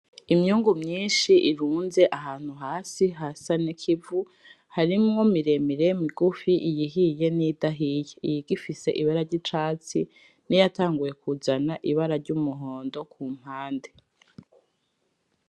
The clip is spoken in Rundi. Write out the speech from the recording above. Imyungu myinshi irunze ahantu hasi hasa nikivu harimwo miremire migufi, iyihiye niyidahiye igifise ibara ryicatsi niyatanguye kuzana ibara ryumuhondo kumpande.